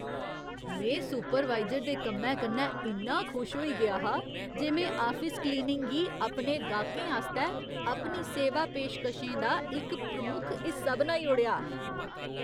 में सुपरवाइजर दे कम्मै कन्नै इन्ना खुश होई गेआ हा जे में आफिस क्लीनिंग गी अपने गाह्‌कें आस्तै अपनी सेवा पेशकशें दा इक प्रमुख हिस्सा बनाई ओड़ेआ।